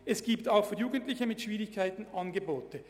Es gibt somit auch für Jugendliche mit Schwierigkeiten Angebote.